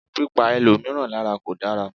Pípa ẹlòmíràn lárà kò dára.